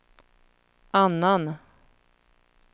annan